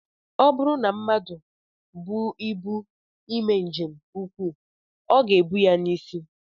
Ọ bụrụ na mmadụ bu ibu eme njem ụkwụ, ọ ga-ebu ya n'isi